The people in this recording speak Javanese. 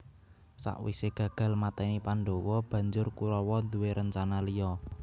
Sakwisé gagal mateni Pandhawa banjur Kurawa duwé rencana liya